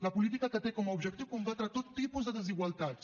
la política que té com a objectiu combatre tot tipus de desigualtats